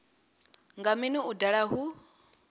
nga mini u daha hu